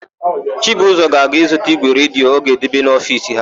Chibụzọ ga-azụta ígwè redio ọ ga-edebe n'ofiisi ha.